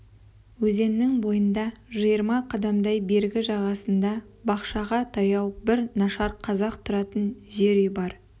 өзеннің бойында жиырма қадамдай бергі жағасында бақшаға таяу бір нашар қазақ тұратын жер үй бар